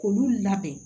K'olu labɛn